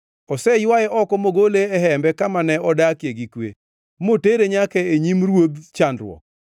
Oseywae oko mogole e hembe kama ne odakie gi kwe, motere nyaka e nyim ruodh chandruok.